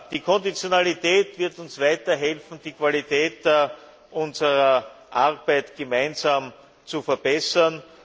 Die Konditionalität wird uns weiter helfen, die Qualität unserer Arbeit gemeinsam zu verbessern.